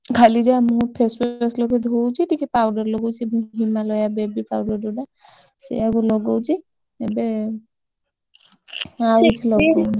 ଖାଲି ଯାହା ମୁହଁ face wash ଲଗେଇ ଧୋଉଛି, ଟିକେ powder ଲଗଉଛି। ସିଏ ବି Himalaya baby powder ଯୋଉଟା ଏବେ ଆଉ କିଛି ଲଗଉନି।